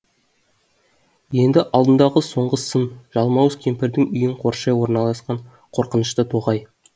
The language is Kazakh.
енді алдындағы соңғы сын жалмауыз кемпірдің үйін қоршай орналасқан қорқынышты тоғай